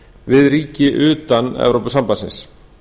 við ríki utan evrópusambandsins